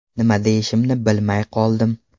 Nima deyishimni bilmay qoldim.